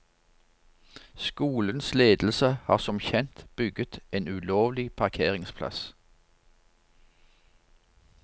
Skolens ledelse har som kjent bygget en ulovlig parkeringsplass.